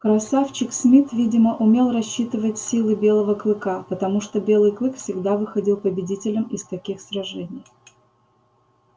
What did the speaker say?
красавчик смит видимо умел рассчитывать силы белого клыка потому что белый клык всегда выходил победителем из таких сражений